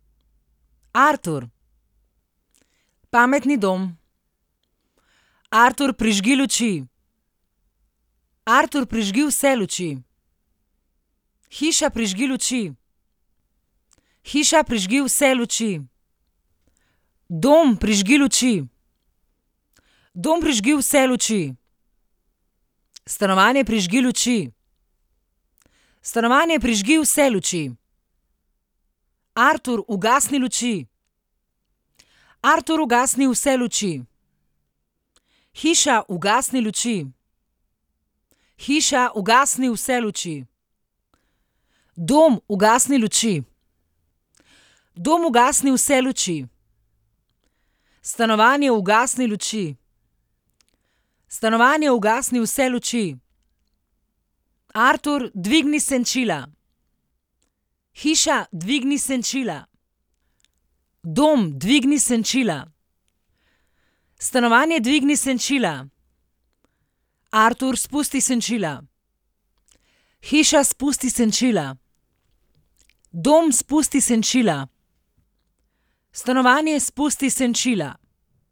Artur. Pametni dom. Artur, prižgi luči. Artur, prižgi vse luči. Hiša, prižgi luči. Hiša, prižgi vse luči. Dom, prižgi luči. Dom, prižgi vse luči. Stanovanje, prižgi luči. Stanovanje, prižgi vse luči. Artur, ugasni luči. Artur, ugasni vse luči. Hiša, ugasni luči. Hiša, ugasni vse luči. Dom, ugasni luči. Dom, ugasni vse luči. Stanovanje, ugasni luči. Stanovanje, ugasni vse luči. Artur, dvigni senčila. Hiša, dvigni senčila. Dom, dvigni senčila. Stanovanje, dvigni senčila. Artur, spusti senčila. Hiša, spusti senčila. Dom, spusti senčila. Stanovanje, spusti senčila.